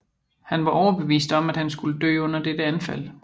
Han var overbevist om at han skulle dø under dette anfald